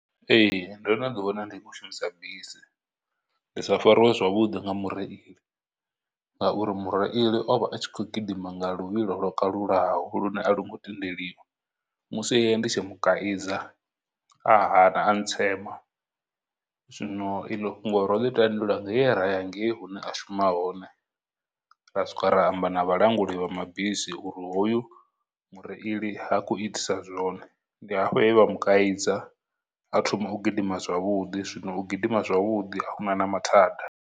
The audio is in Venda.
Ee, ndono ḓi wana ndi khou shumisa bisi, ndi sa fariwe zwavhudi nga mureili ngauri mureili o vha a tshi khou gidima nga luvhilo lwo kalulaho lune a lu ngo tendeliwa, musi ndi tshi mu kaidza a hana a ntsema, zwino iḽo fhungo ro ḽi tandulula nge ra ya ngei hune a shuma hone ra swika ra amba na vhalanguli vha mabisi uri hoyu mureili ha khou itisa zwone, ndi hafho he vha mu kaidza a thoma u gidima zwavhuḓi, zwino u gidima zwavhuḓi ahuna na mathada.